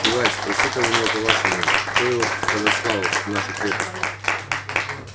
юлай спроси-ка у него по-вашему кто его подослал в нашу крепость